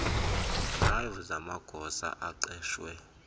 drive zamagosa aqeshwe